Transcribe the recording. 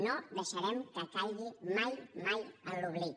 no deixarem que caigui mai mai en l’oblit